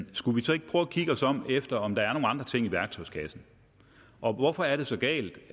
skulle vi så ikke prøve at kigge os om efter om der er nogle andre ting i værktøjskassen og hvorfor er det så galt